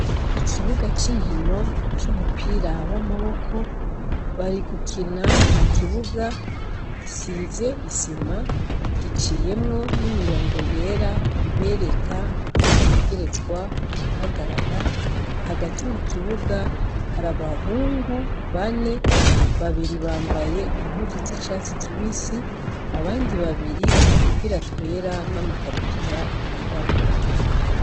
Ikibuga c'inkino c'umupira w'amaboko, bari gukina mu kibuga gisize isima, giciyemwo n'imirongo yera ibereka aho bategerezwa guhagarara, hagati mu kibuga hari abahungu bane, babiri bambaye impuzu z'icatsi kibisi, abandi babiri udupira twera n'amakabutura yirabura.